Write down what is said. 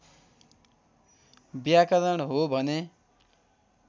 व्याकरण हो भने